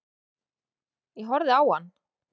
Ég horfði á hann.